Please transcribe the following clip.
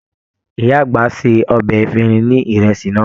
Ìyá àgbà ṣe ọbẹ efirin sí ìrẹsì náà.